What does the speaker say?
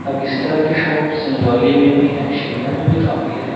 अब इस तरह की शॉप संजौली में भी है शिमला में भी काफी है।